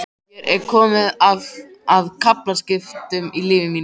Hér er komið að kaflaskilum í lífi mínu.